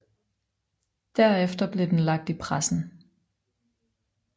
Derefter blev den lagt i pressen